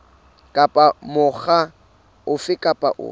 kapa mokga ofe kapa ofe